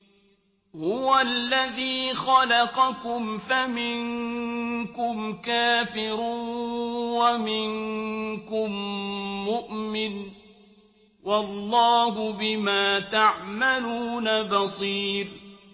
هُوَ الَّذِي خَلَقَكُمْ فَمِنكُمْ كَافِرٌ وَمِنكُم مُّؤْمِنٌ ۚ وَاللَّهُ بِمَا تَعْمَلُونَ بَصِيرٌ